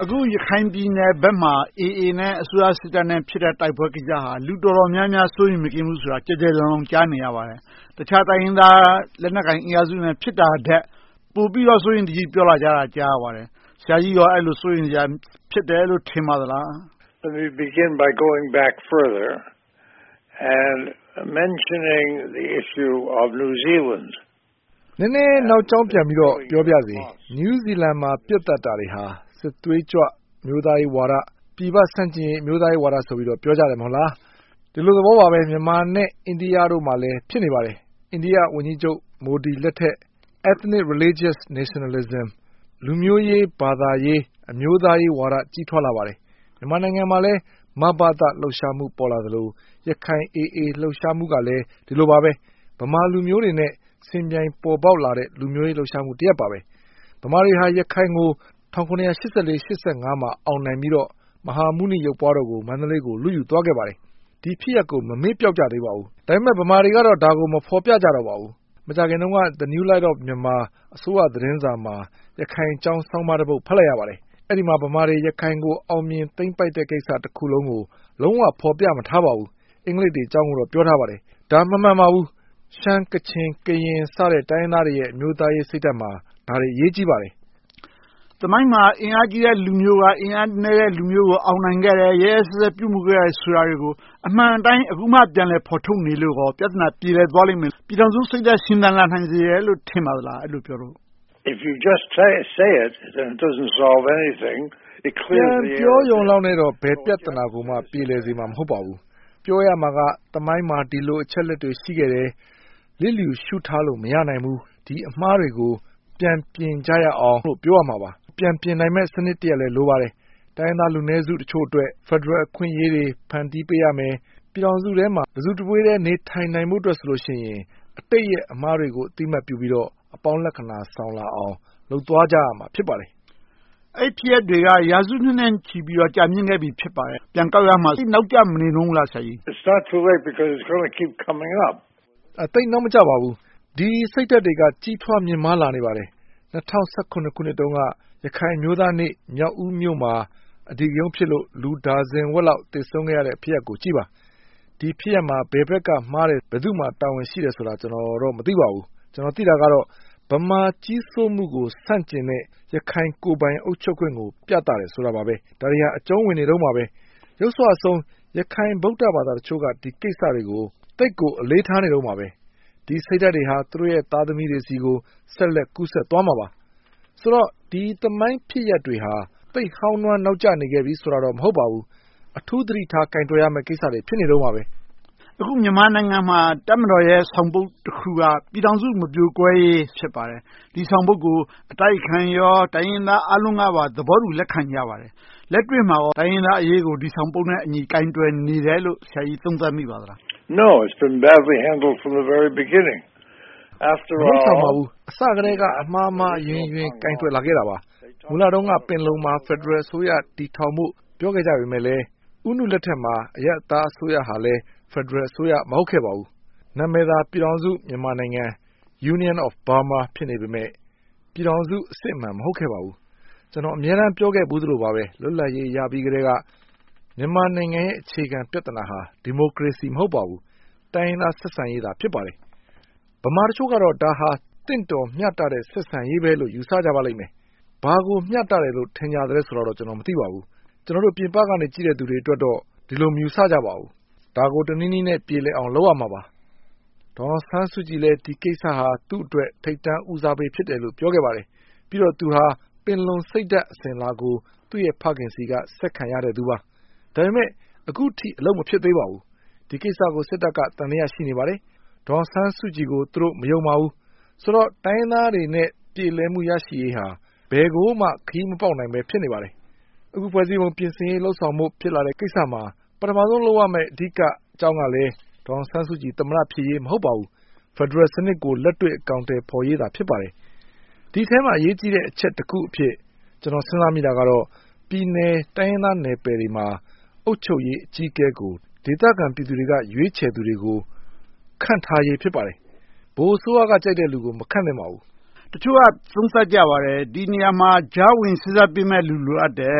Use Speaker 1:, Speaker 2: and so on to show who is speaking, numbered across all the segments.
Speaker 1: အခု ရခိုင်ပြည်နယ်ဘက်မှာ AA နဲ့ အစိုးရစစ်တပ်တို့ ဖြစ်နေတဲ့ တိုက်ပွဲကိစ္စဟာ လူတော်တော်များများ စိုးရိမ်မကင်း ဖြစ်နေတယ်ဆိုတာကို ကျယ်ကျယ်လောင်လောင် ကြားနေရပါတယ်။ တခြားတိုင်းရင်းသား လက်နက်ကိုင်အင်အားစုတွေနဲ့ ဖြစ်နေတာထက် ပိုပြီးတော့ စိုးရိမ်တကြီး ပြောလာကြတာကို ကြားသိရပါတယ်။ ဆရာကြီးအနေနဲ့ အဲဒီလို စိုးရိမ်စရာ ဖြစ်တယ်လို့ ဖြစ်မိပါလား။
Speaker 2: နည်းနည်းနောက်ကြောင်းပြန်ပြီးတော့ ပြောပါရစေ New Zealand မှာ ပစ်သတ်တာတွေဟာ စစ်သွေးကြွ အမျိုးသားရေးဝါဒ၊ ပြည်ပဆန့်ကျင်ရေး အမျိုးသားရေးဝါဒလို့ ပြောကြတယ် မဟုတ်လား။ ဒီလိုသဘောပါပဲ မြန်မာနဲ့ အိန္ဒိယတို့မှာလည်း ဖြစ်နေပါတယ်။ အိန္ဒိယဝန်ကြီးချုပ် မိုဒီလက်ထက် Ethnic Religious Nationalism လူမျိုးရေး၊ ဘာသာရေး၊ အမျိုးသားရေးဝါဒ ကြီးထွားလာပါတယ်။ မြန်မာနိုင်ငံမှာလည်း မဘသ လှုပ်ရှားမှု ပေါ်လာသလို၊ ရခိုင် AA လှုပ်ရှားမှုကလည်း ဒီလိုပါပဲ။ ဗမာလူမျိုးတွေနဲ့ ယှဉ်ပြိုင်ပေါ်ပေါက်လာတဲ့ လူမျိုးရေးလှုပ်ရှားမှုတရပ်ပါ။ ဗမာတွေဟာ ရခိုင်ကို ၁၇၈၄-၈၅ မှာ အောင်နိုင်ပြီးတော့ မဟာမုနိရုပ်ပွားတော်ကို မန္တလေးကို လုယူသွားခဲ့ပါတယ်။ ဒီဖြစ်ရပ်ကို မမေ့ပျောက်ကြသေးပါဘူး။ ဒါပေမဲ့ ဗမာတွေကတော့ ဒါကို မဖော်ပြကြတော့ပါဘူး။ မကြာခင်တုန်းက New Light of Myanmar အစိုးရသတင်းစာမှာ ရခိုင်အကြောင်း ဆောင်းပါးတပုဒ် ဖတ်လိုက်ရပါတယ်။ အဲဒီမှာ ဗမာတွေ ရခိုင်ကို သိမ်းပိုက်အောင်မြင်တဲ့ကိစ္စတခုလုံးကို လုံးဝဖော်ပြမထားပါဘူး။ အင်္ဂလိပ်တွေအကြောင်းကိုတော့ ပြောထားပါတယ်။ ဒါ မမှန်ပါဘူး။ ရှမ်း၊ ကချင်၊ ကရင် စတဲ့ တိုင်းရင်းသားတွေရဲ့ အမျိုးသားရေးစိတ်ဓါတ်မှာ ဒါတွေအရေးကြီးပါတယ်။
Speaker 1: သမိုင်းမှာ အင်အားကြီးတဲ့လူမျိုးက အင်အားနည်းတဲ့လူမျိုးကို အောင်နိုင်ခဲ့တယ်။ ရက်ရက်စက်စက် ပြုမှုခဲ့တယ်ဆိုတာတွေကို အမှန်အတိုင်း အခုမှ ဖော်ထုတ်နေလို့ ပြဿနာပြေလည်သွားမယ်၊ ပြည်ထောင်စုစိတ်ဓါတ် ရှင်သန်လာနိုင်မယ်လို့ ထင်ပါသလား။
Speaker 2: ပြန်ပြောရုံနဲ့ ဘယ်ပြဿနာကိုမှ ပြေလည်သွားစေမှာ မဟုတ်ပါဘူး။ ပြောရမှာက သမိုင်းမှာ ဒီလိုအချက်အလက်တွေ ရှိခဲ့တယ်။ လစ်လျူရှုထားလို့ မရနိုင်ဘူး။ ဒီအမှားတွေကို ပြန်ပြင်ကြရအောင်ဆိုပြီး ပြောရမှာပါ။ ပြန်ပြင်နိုင်မယ့်စနစ်တရပ်လည်း လိုပါတယ်။ တိုင်းရင်းသားလူနည်းစုတချို့အတွက် ဖယ်ဒရယ်အခွင့်အရေးတွေ ဖန်တီးပေးရမယ်။ ပြည်ထောင်စုထဲမှာ တစုတဝေးတည်း နေနိုင်ဖို့အတွက် အတိတ်ရဲ့အမှားတွေကို အသိအမှတ်ပြုပြီးတော့ အပေါင်းလက္ခဏာဆောင်လာအောင် လုပ်သွားကြရမှာ ဖြစ်ပါတယ်။
Speaker 1: အဲဒီဖြစ်ရပ်တွေက ရာစုနှစ်ထက်ကြာမြင့်ခဲ့ပြီ ဖြစ်ပါတယ်။ ပြန်ကောက်ရမှာ သိပ်နောက်ကျမနေဘူးလား။
Speaker 2: သိပ်နောက်မကျပါဘူး။ ဒီစိတ်ဓါတ်တွေက ကြီးမားမြင့်မားလာနေပါတယ်။ ၂၀၁၇ ခုနှစ်တုန်းက ရခိုင်အမျိုးသားနေ့မှာ မြောက်ဦးမြို့မှာ အဓိကရုဏ်းဖြစ်လို့ လူဒါဇင်ဝက်လောက် သေဆုံးခဲ့ရတဲ့ ဖြစ်ရပ်ကိုကြည့်ပါ။ ဒီဖြစ်ရပ်မှာ ဘယ်ဘက်ကမှားတယ်။ ဘယ်သူမှာ တာဝန်ရှိတယ်ဆိုတာ ကျနော်တော့ မသိပါဘူး။ ကျနော် သိတာကတော့ ဗမာကြီးစိုးမှုကို ဆန့်ကျင်တဲ့ ရခိုင်ကိုယ်ပိုင်အုပ်ချုပ်ခွင့်ကို ပြသတာပါ။ ဒါတွေက အကြုံဝင်နေတုန်းပါ။ ယုတ်စွအဆုံး ရခိုင် ဗုဒ္ဓဘာသာအချို့က ဒီကိစ္စတွေကို သိပ်ကိုအလေးထားနေတုန်းပါပဲ။ ဒီစိတ်ဓါတ်တွေဟာ သူတို့ရဲ့ သားသမီးတွေဆီကို ဆက်လက်ကူးစက်သွားမှာပါ။ ဆိုတော့ ဒီသမိုင်းဖြစ်ရပ်တွေဟာ သိပ်ဟောင်းနွှမ်းနောက်ကျနေပြီဆိုတာတော့ မဟုတ်ပါဘူး။ အထူးသတိထားကိုင်တွယ်ရမယ့် ကိစ္စတွေ ဖြစ်နေတုန်းပါပဲ။
Speaker 1: အခု မြန်မာနိုင်ငံမှာ တပ်မတော်ရဲ့ ဆောင်ပုဒ်တခုက ပြည်ထောင်စုမပြိုကွဲရေး ဖြစ်ပါတယ်။ ဒီဆောင်ပုဒ်ကို အတိုက်အခံရော၊ တိုင်းရင်းသားအားလုံးကပါ သဘောတူလက်ခံကြပါတယ်။ လက်တွေ့မှာ တိုင်းရင်းသားအရေးကို ဒီဆောင်ပုဒ်နဲ့အညီ ကိုင်တွယ်နေတယ်လို့ ဆရာကြီး သုံးသပ်မိပါသလား။
Speaker 2: မလုပ်ဆောင်ပါဘူး။ အစကတည်းက အမှားမှားအယွင်းယွင်း ကိုင်တွယ်လာခဲ့တာပါ။ မူလတုန်းက ပင်လုံမှာ ဖယ်ဒရယ်အစိုးရ တည်ထောင်ဖို့ ပြောခဲ့ကြပေမယ့် ဦးနုလက်ထက်မှာ အရပ်သားအစိုးရဟာလည်း ဖယ်ဒရယ်အစိုးရ မဟုတ်ခဲ့ပါဘူး။ နာမည်သာ ပြည်ထောင်စုမြန်မာနိုင်ငံ Union of Burma ဖြစ်နေပေမယ့် ပြည်ထောင်စု အစစ်အမှန် မဟုတ်ခဲ့ပါဘူး။ ကျနော် အမြဲတမ်းပြောခဲ့ဖူးသလိုပါပဲ လွတ်လပ်ရေးရပြီးကတည်းက မြန်မာနိုင်ငံရဲ့ အခြေခံပြဿနာဟာ ဒီမိုကရေစီ မဟုတ်ပါဘူး။ တိုင်းရင်းသားဆက်ဆံရေးသာ ဖြစ်ပါတယ်။ ဗမာတချို့ကတော့ ဒါဟာ သင့်တော်မျှတတဲ့ ဆက်ဆံရေးပဲလို့ ယူဆကြပါလိမ့်မယ်။ ဘာကိုမျှတတယ်လို့ ထင်ကြသလဲတော့ မသိပါဘူး။ ကျနော်တို့ ပြင်ပကနေ ကြည့်တဲ့လူတွေအတွက်တော့ ဒီလိုမယူဆကြပါဘူး။ ဒါကို တနည်းနည်းနဲ့ ပြေလည်အောင် လုပ်ရမှာပါ။ ဒေါ်အောင်ဆန်းစုကြည်လည်း ဒီကိစ္စဟာ သူ့အတွက် ထိပ်တန်းဦးစားပေး ပြောခဲ့ပါတယ်။ ပြီးတော့ သူဟာ ပင်လုံစိတ်ဓါတ် အစဉ်အလာကို သူ့ရဲ့ဖခင်ဆီက ဆက်ခံရတဲ့သူပါ။ ဒါပေမဲ့ အခုထိ အလုပ်မဖြစ်သေးပါဘူး။ ဒီကိစ္စကို စစ်တပ်က သံသယ ရှိနေပါသေးတယ်။ ဒေါ်အောင်ဆန်းစုကြည်ကို သူတို့မယုံပါဘူး။ ဆိုတော့ တိုင်းရင်းသားတွေနဲ့ ပြေလည်မှု ရရှိရေးဟာ ဘယ်ကိုမှ ခရီးမပေါက်နိုင်ဘဲ ရှိနေပါသေးတယ်။ အခု ဖွဲ့စည်းပုံပြင်ဆင်ဖို့ ဖြစ်လာနေတဲ့ကိစ္စမှာ ပထမဦးဆုံးလုပ်ရမယ့် အဓိကအကြောင်းကလည်း ဒေါ်အောင်ဆန်းစုကြည် သမ္မတ ဖြစ်ရေး မဟုတ်ပါဘူး။ ဖယ်ဒရယ်စနစ်ကို လက်တွေ့အကောင်အထည်ဖော်ရေးသာ ဖြစ်ပါတယ်။ ဒီအထဲမှာ အရေးကြီးတဲ့အချက်တချက်အဖြစ် ကျနော် စဉ်းစားမိတာကတော့ ပြည်နယ်တိုင်းရင်းသားနယ်ပယ်တွေမှာ အုပ်ချုပ်ရေးအကြီးအကဲကို ဒေသခံပြည်သူတွေက ရွေးချယ်သူတွေကို ခန့်ထားရေး ဖြစ်ပါတယ်။ ဗဟိုအစိုးရကကြိုက်တဲ့လူကို မခန့်သင့်ပါဘူး။
Speaker 1: တချို့က သုံးသပ်ကြပါတယ်။ ဒီနေရာမှာ ကြာဝင်စေ့စပ်ပေးရမယ့် လူလိုအပ်တယ်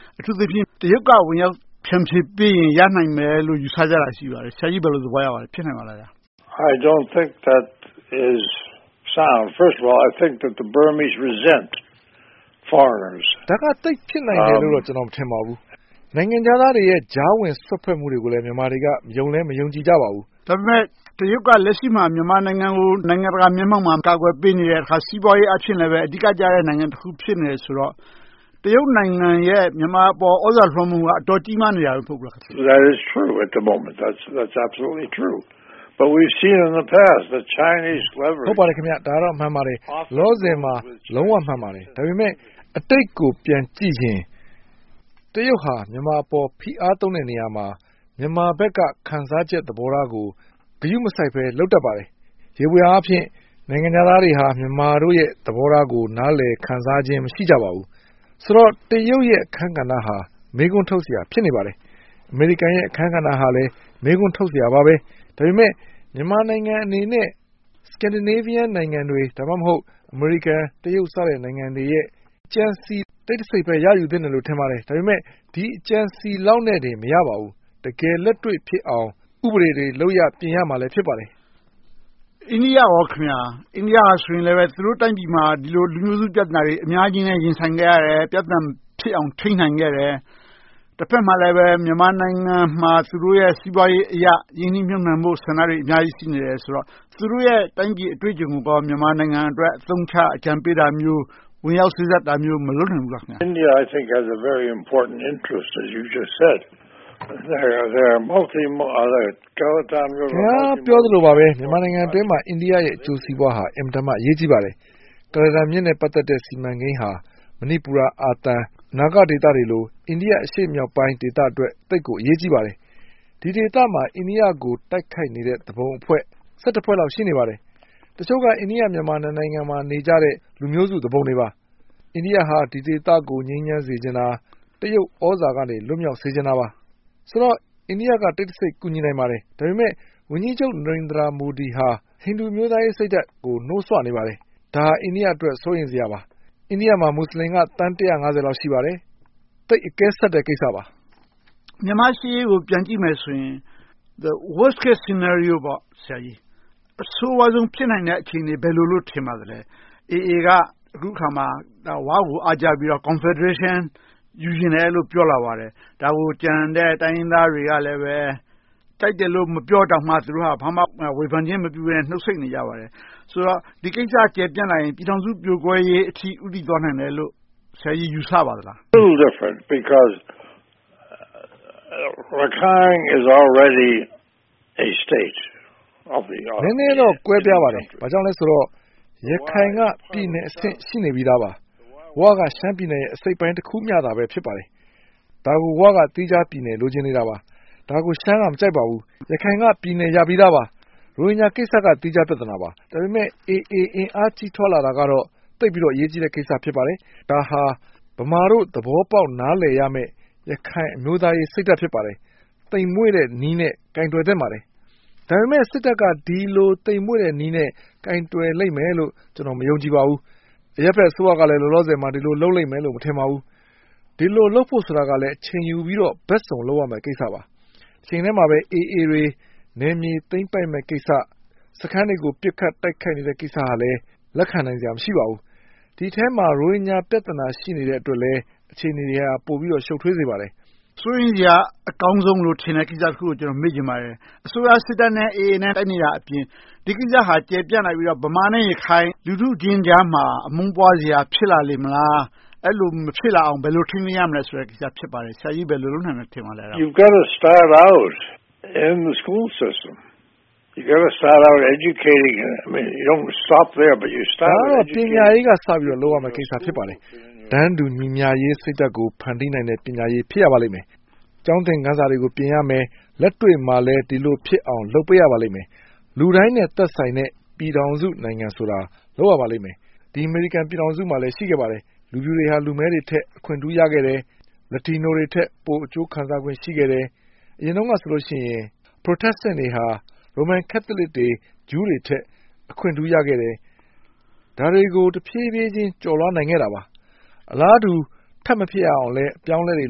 Speaker 1: ။ အထူးသဖြင့် တရုတ်က ဝင်ရောက်ဖြန့်ဖြေပေးရင် ရနိုင်မယ်လို့ ယူဆကြတာ ရှိပါတယ်။ ဆရာကြီး ဘယ်လိုသဘောရပါလဲ။ ဖြစ်နိုင်ပါသလား။
Speaker 2: ဒါက သိပ်ဖြစ်နိုင်မယ်လို့ ကျနော် မထင်ပါဘူး။ နိုင်ငံခြားသားတွေရဲ့ ကြားဝင်စွက်ဖက်မှုတွေကိုလည်း မြန်မာတွေက ယုံလည်းမယုံကြည်ကြပါဘူး။
Speaker 1: ဒါပေမဲ့ တရုတ်က လက်ရှိမှာ မြန်မာနိုင်ငံကို နိုင်ငံတကာမျက်မှောက်မှာ ကာကွယ်ပေးနေတယ်။ စီးပွားရေးအားဖြင့်လည်း အဓိကကျနေတယ်ဆိုတော့ တရုတ်နိုင်ငံရဲ့ မြန်မာအပေါ် သြဇာလွှမ်းမိုးမှုက အတော်ကြီးမားနေတယ် မဟုတ်ဘူးလား။
Speaker 2: ဟုတ်ပါတယ်။ ဒါကတော့ မှန်ပါတယ်။ လောလောဆယ်မှာ လုံးဝမှန်ပါတယ်။ ဒါပေမဲ့ အတိတ်ကို ပြန်ကြည့်ရင် တရုတ်က မြန်မာအပေါ် ဖိအားသုံးတဲ့နေရာမှာ မြန်မာဘက်က ခံစားချက်သဘောထားကို ဂရုမစိုက်ဘဲ လုပ်တတ်ပါတယ်။ ယေဘုယျအားဖြင့် နိုင်ငံခြားသားတွေဟာ မြန်မာတို့ရဲ့ သဘောထားကို နားလည်ခံစားခြင်း မရှိကြပါဘူး။ ဆိုတော့ တရုတ်တို့ရဲ့ အခန်းကဏ္ဍဟာ မေးခွန်းထုတ်စရာ ဖြစ်နေပါတယ်။ အမေရိကန်ရဲ့ အခန်းကဏ္ဍဟာလည်း မေးခွန်းထုတ်စရာပါပဲ။ ဒါပေမဲ့ မြန်မာနိုင်ငံအနေနဲ့ Scandinavia နိုင်ငံတွေ။ ဒါမှမဟုတ် အမေရိကန်၊ တရုတ် စတဲ့နိုင်ငံတွေရဲ့ အကြံဉာဏ် တစိတ်တပိုင်းပဲ ရယူသင့်တယ်လို့ ထင်ပါတယ်။ ဒါပေမဲ့ ဒီအကြံအစည်လောက်နဲ့တော့ မရပါဘူး။ တကယ်လက်တွေ့ဖြစ်အောင် ဥပဒေတွေ လုပ်ရပ်တွေ ပြင်ရမှာ ဖြစ်ပါတယ်။
Speaker 1: အိန္ဒိယအနေနဲ့ကော.. အိန္ဒိယက သူတို့တိုင်းပြည်မှာ ဒီလိုလူမျိုးစုပြဿနာတွေ အများကြီးနဲ့ ရင်ဆိုင်ခဲ့ရတယ်။ ပြဿနာတွေမဖြစ်အောင် ထိန်းနိုင်ခဲ့တယ်။ တဘက်မှာလည်း မြန်မာနိုင်ငံမှာ သူတို့ရဲ့ စီးပွားရေးအရ ရင်းနှီးမြုပ်နံှဖို့ ဆန္ဒတွေ အများကြီး ရှိနေတယ်ဆိုတော့ သူတို့ရဲ့ တိုင်းပြည်အတွေ့အကြံုံကို မြန်မာနိုင်ငံအတွက် အသုံးချအကြံပေးတာမျိုး၊ ဝင်ရောက်စေ့စပ်တာမျိုးတွေ မလုပ်နိုင်ဘူးလား။
Speaker 2: ခင်များပြောသလိုပါပဲ မြန်မာနိုင်ငံအတွင်းမှာ အိန္ဒိယရဲ့ အကျိုးစီးပွားဟာ အင်မတန်မှ အရေးကြီးပါတယ်။ ကုလားတန်မြစ်နဲ့ စီမံကိန်းဟာ မဏိပူရ၊ အာသံ၊ နာဂဒေသတွေလို အိန္ဒိယဒေသ အရှေ့မြောက်ပိုင်းအတွက် သိပ်ကိုအရေးကြီးပါတယ်။ ဒီဒေသမှာ အိန္ဒိယကို တိုက်ခိုက်နေတဲ့ သူပုန်အဖွဲ့ ဖွဲ့လောက် ရှိနေပါတယ်။ တချို့က အိန္ဒိယ-မြန်မာ နှစ်နိုင်ငံမှာ နေကြတဲ့ လူမျိုးစုသူပုန်တွေပါ။ အိန္ဒိယဟာ ဒီဒေသကို ငြိမ်းချမ်းစေချင်တာ။ တရုတ်သြဇာကနေ လွှတ်မြောက်စေချင်တာပါ။ ဆိုတော့ အိန္ဒိယက တိတ်တစိတ် ကူညီနိုင်ပါတယ်။ ဒါပေမဲ့ အိန္ဒိယဝန်ကြီးချုပ် မိုဒီဟာ ဟိန္ဒူအမျိုးသားရေးစိတ်ဓါတ်ကို နိုးဆွနေပါတယ်။ ဒါဟာ အိန္ဒိယအတွက် စိုးရိမ်စရာပါ။ အိန္ဒိယမှာ မူစလင်က သန်း လောက် ရှိပါတယ်။ သိပ်အကဲဆတ်တဲ့ ကိစ္စပါ။
Speaker 1: မြန်မာ့ရှေ့ရေးကို ပြန်ကြည့်မယ်ဆိုရင် The Worst Case Scenario အဆိုးဝါးဆုံး ဖြစ်နိုင်တဲ့ အခြေအနေ ဘာလို့ထင်ပါသလဲ။ AA က အခုအခါမှာ “ဝ” ကို အားကျပြီး Confederation ယူချင်တယ်လို့ ပြောလာပါတယ်။ ဒါကို ကျန်တဲ့ တိုင်းရင်းသားတွေကလည်း ကြိုက်တယ်လို့ မပြောတောင်မှ ဘာမှဝေဖန်ခြင်းမပြုဘဲနဲ့ နှုတ်ဆိတ်နေကြပါတယ်။ ဆိုတော့ ဒီကိစ္စကျယ်ပြန့်လာရင် ပြည်ထောင်စုပြိုကွဲရေးအထိ ဦးတည်သွားလာနိုင်တယ်လို့ ဆရာကြီး ယူဆပါသလား။
Speaker 2: နည်းနည်းတော့ ကွဲပြားပါတယ်။ ဘာဖြစ်လို့လဲဆိုတော့ ရခိုင်က ပြည်နယ်အဆင့် ရှိနေပြီသားပါ။ “ဝ” က ရှမ်းပြည်နယ်ရဲ့ အစိတ်အပိုင်းတခုမျှသာ ဖြစ်ပါတယ်။ ဒါကို “ဝ” က သီးခြားပြည်နယ် လိုချင်နေတာပါ။ ဒါကို ရှမ်းက မကြိုက်ပါဘူး။ ရခိုင်က ပြည်နယ်ရပြီသားပါ။ ရိုဟင်ဂျာကိစ္စက သီးခြားပြဿနာပါ။ ဒါပေမဲ့ AA အင်အားကြီးထွားလာတာကတော့ သိပ်ပြီးတော့ အရေးကြီးတဲ့ကိစ္စ ဖြစ်ပါတယ်။ ဒါဟာ ဗမာတို့ နားလည်သဘောပေါက်ရမယ့် ရခိုင်အမျိုးသားရေးစိတ်ဓါတ် ဖြစ်ပါတယ်။ သိမ်မွှေ့တဲ့နည်းနဲ့ ကိုင်တွယ်သင့်ပါတယ်။ ဒါပေမဲ့ စစ်တပ်က ဒီလိုသိမ်မွှေ့တဲ့နည်းနဲ့ ကိုင်တွယ်လိမ့်မယ်လို့ ကျနော် မယုံကြည်ပါဘူး။ အရပ်ဘက်အစိုးရကလည်း ဒီလိုလုပ်လိမ့်မယ်လို့ မထင်ပါဘူး။ ဒီလိုလုပ်ဖို့ကိုလည်း အချိန်ယူပြီးတော့ ဘက်စုံလုပ်ရမယ့်ကိစ္စပါ။ တချိန်တည်းမှာပဲ AA တွေ နယ်မြေသိမ်းပိုက်မယ့်ကိစ္စ။ စခန်းတွေကို ပစ်ခတ်သိမ်းပိုက်နေတဲ့ ကိစ္စကလည်း လက်ခံနိုင်စရာ မရှိပါဘူး။ ဒီအထဲမှာ ရိုဟင်ဂျာပြဿနာ ရှိနေသေးတဲ့အတွက်လည်း အခြေအနေတွေက ပိုပြီးတော့ ရှုပ်ထွေးစေပါတယ်။
Speaker 1: စိုးရိမ်စရာ အကောင်းဆုံးလို့ ထင်တဲ့ကိစ္စတခုကို မေးချင်ပါတယ်။ အစိုးရစစ်တပ်နဲ့ AA တို့ တိုက်နေတာအပြင် ဒီကိစ္စဟာ ကျယ်ပြန့်လာပြီးတော့ ဗမာနဲ့ ရခိုင် လူထုချင်းကြားမှာ အမုန်းပွားစရာ ဖြစ်လာလေမလား။ အဲဒီလို မဖြစ်လာအောင် ဘယ်လို ထိန်းသိမ်းရမလဲဆိုတဲ့ ကိစ္စ ဖြစ်ပါတယ်။ ဆရာကြီး ဘယ်လိုလုပ်နိုင်မယ်လို့ ထင်ပါသလဲ။
Speaker 2: ဒါကတော့ ပညာရေးကစပြီး လုပ်ရမယ့်ကိစ္စ ဖြစ်ပါတယ်။ တန်းတူညီမျှရေးစိတ်ဓါတ်ကို ဖန်တီးနိုင်တဲ့ ပညာရေး ဖြစ်ရပါမယ်။ ကျောင်းသင်ခန်းစာတွေ ပြင်ရမယ်။ လက်တွေ့မှာလည်း ဒီလိုဖြစ်အောင် လုပ်ပေးရပါလိမ့်မယ်။ လူတိုင်းနဲ့ သက်ဆိုင်တဲ့ ပြည်ထောင်စုနိုင်ငံဆိုတာကို လုပ်ရပါလိမ့်မယ်။ ဒီ အမေရိကန်ပြည်ထောင်စုမှာလည်း ရှိခဲ့ပါတယ်။ လူဖြူတွေဟာ လူမည်းတွေထက် အခွင့်ထူးခံ ရခဲ့တယ်။ Latino တွေထက် ပိုအကျိုးခံစားခွင့် ရှိခဲ့တယ်။ အရင်တုန်းကဆိုရင် Protestant တွေက Roman Catholic, Jew တွေထက် အခွင့်ထူးရခဲ့တယ်။ ဒါတွေကို ဖြည်းဖြည်းချင်း ကျော်လွှာနိုင်ခဲ့တာပါ။ အလားတူ ထပ်မဖြစ်အောင်လဲ အပြောင်းအလဲတွေ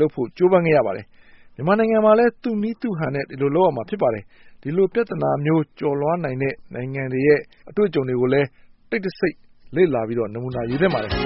Speaker 2: လုပ်ဖို့ ကြိုးပမ်းခဲ့ရပါတယ်။ မြန်မာနိုင်ငံမှာလည်း သူ့နည်းသူ့ဟန်နဲ့ ဒီလိုပြောင်းလဲမှုတွေ လုပ်ရပါမယ်။ ဒီလိုပြဿနာမျိုး ကျော်လွှာနိုင်မယ့် နိုင်ငံတွေရဲ့ အတွေ့အကြုံတွေကိုလည်း တိတ်တစိတ်လေ့လာပြီးတော့ နမူနာယူသင့်ပါတယ်။